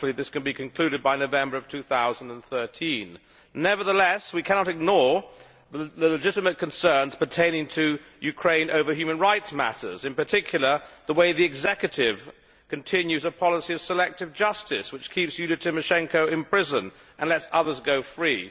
Hopefully, this can be concluded by November 2013. Nevertheless we cannot ignore the legitimate concerns pertaining to Ukraine over human rights matters, and in particular the way the executive continues to pursue a policy of selective justice which keeps Yulia Tymoshenko in prison and lets others go free.